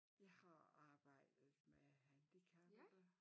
Jeg har arbejdet med handicappede